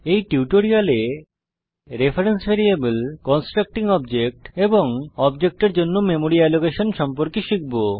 এই টিউটোরিয়ালে reference variable constructing object এবং অবজেক্টের জন্য মেমরি অ্যালোকেশন সম্পর্কে শিখব